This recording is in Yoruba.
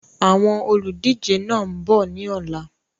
Àwọn olùdíje náà ń bọ̀ ni ọ̀la